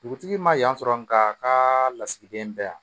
Dugutigi ma yan sɔrɔ nka a ka lasigiden bɛɛ yan